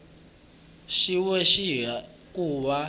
xin we hi ku va